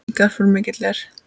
Þessi garpur mikill er.